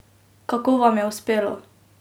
Kako vam je uspelo?